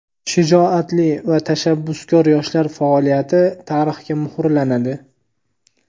Shijoatli va tashabbuskor yoshlar faoliyati tarixga muhrlanadi!.